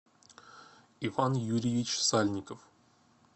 иван юрьевич сальников